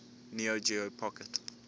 neo geo pocket